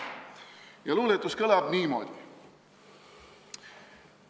Ja luuletus kõlab niimoodi.